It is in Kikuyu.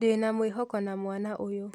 Ndĩ na mwĩhoko na mwana ũyũ.